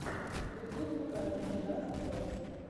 ютуб покажи джаст сотс